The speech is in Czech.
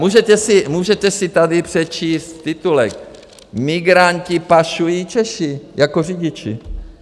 Můžete si tady přečíst titulek: Migranty pašují Češi jako řidiči.